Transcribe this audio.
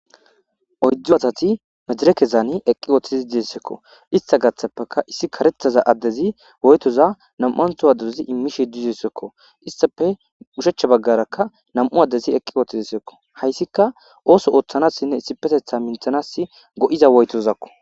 Oyddu asati mejerekezaani eqqi ooththizi diessekko ista gaththappeka issi karethaza addezi woytoza nam7antho addeozi immishe duzessekko istafe ushechcha baggarakka nam7u addezi eqqi oohthidesekko hayssika ooso ooththanassinne issi petetha minthanas go7iza woytozakko.